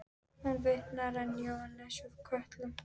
Hún vitnar enn í Jóhannes úr Kötlum